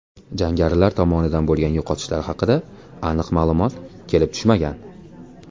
Jangarilar tomonidan bo‘lgan yo‘qotishlar haqida aniq ma’lumot kelib tushmagan.